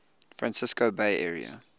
francisco bay area